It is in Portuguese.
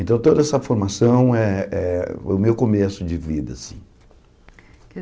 Então toda essa formação é é o meu começo de vida, assim.